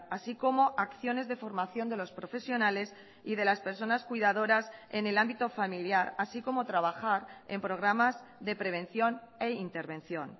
así como acciones de formación de los profesionales y de las personas cuidadoras en el ámbito familiar así como trabajar en programas de prevención e intervención